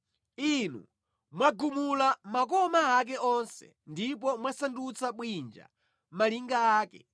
Inu mwagumula makoma ake onse ndipo mwasandutsa bwinja malinga ake.